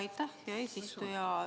Aitäh, hea eesistuja!